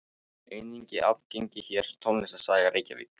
Einnig aðgengileg hér: Tónlistarsaga Reykjavíkur.